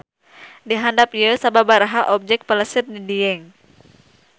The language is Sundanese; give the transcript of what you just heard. Di handap ieu sababaraha objek pelesir di Dieng.